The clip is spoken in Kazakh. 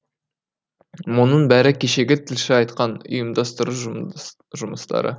мұның бәрі кешегі тілші айтқан ұйымдастыру жұмыс жұмыстары